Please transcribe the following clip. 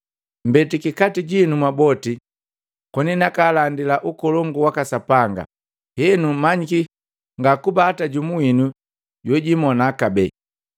“Mbetiki kati jinu mwaboti koni nakalandila ukolongu waka Sapanga. Henu, manyiki ngakuba hata jumu winu jojimona kabee.